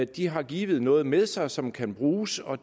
de har givet noget med sig som kan bruges og